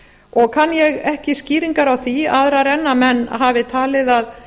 og kann ég ekki skýringar á því aðrar en menn hafi talið að